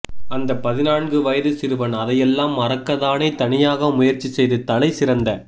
அந்த பதினான்கு வயது சிறுவன் அதையெல்லாம் மறக்க தானே தனியாக முயற்சி செய்து தலை சிறந்த